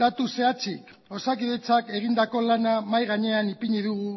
datu zehatzik osakidetzak egindako lana mahai gainean ipini dugu